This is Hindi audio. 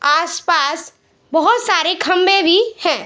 आसपास बहुत सारे खंभे भी हैं।